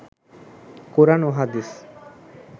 কোরআন ও হাদিস